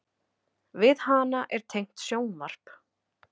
Við hana er tengt sjónvarp.